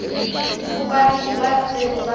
ho balemi ba ntseng ba